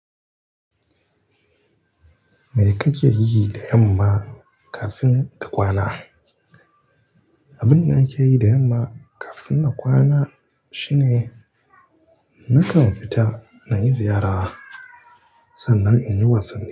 Me kake yi da yamma kafin ka kwana? Abin da nake yi da yamma kafin na kwana shine nakan fita nayi ziyara sannan in yi wasanni.